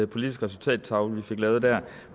politisk resultattavle vi fik lavet der